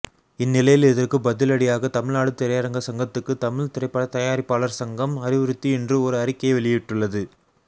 இந்நிலையில் இதற்கு பதிலடியாக தமிழ்நாடு திரையரங்க சங்கத்துக்கு தமிழ் திரைப்பட தயாரிப்பாளார் சங்கம் அறிவுறுத்தி இன்று ஒரு அறிக்கை வெளியிட்டுள்ளது